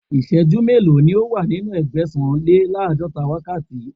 Ìsẹ́jú mélòó ni ó wà nínú Ẹgbẹ̀sàn-lé-láàdọ́ta wákàtí?